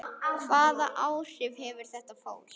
Hvaða áhrif hefur þetta fólk?